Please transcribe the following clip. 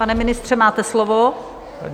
Pane ministře, máte slovo.